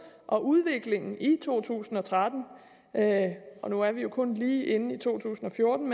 og udviklingen i to tusind og tretten og nu er vi jo kun lige inde i to tusind og fjorten